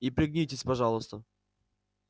и пригнитесь пожалуйста